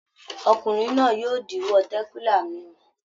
Ọkùnrin náà yóò díwọ́ tẹ̀kílà mímu.